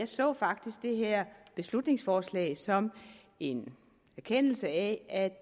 så faktisk det her beslutningsforslag som en erkendelse af